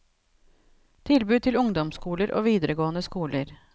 Tilbud til ungdomsskoler og videregående skoler.